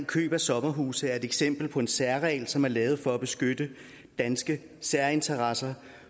køb af sommerhuse er et eksempel på en særregel som er lavet for at beskytte danske særinteresser